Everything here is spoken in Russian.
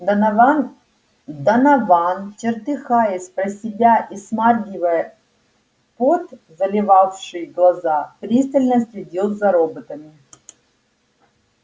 донован донован чертыхаясь про себя и смаргивая пот заливавший глаза пристально следил за роботами